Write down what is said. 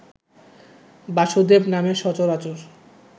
বাসুদেব নামে সচরাচর